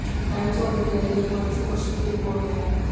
times of India के हिमांशु कौशिक की report है